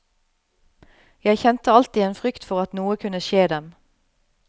Jeg kjente alltid en frykt for at noe kunne skje dem.